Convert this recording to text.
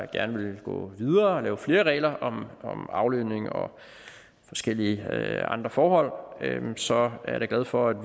gerne ville gå videre og lave flere regler om aflønning og forskellige andre forhold så er jeg da glad for at